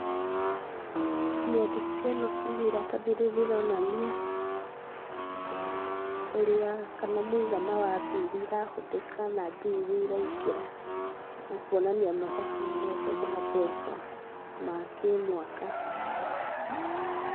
Mĩandĩko ĩno kana iratathi rĩrĩ rĩronania, ũrĩa, kana mũigana wa mbia iria irahũthĩka na mbia iria iraingĩra na kuonania mathabu mothe ma mbeca ma kĩmwaka.